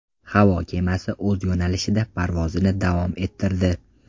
Havo kemasi o‘z yo‘nalishida parvozini davom ettirdi.